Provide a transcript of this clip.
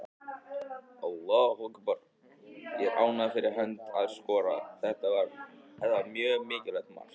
Ég er ánægður fyrir hans hönd að skora, þetta var mjög mikilvægt mark.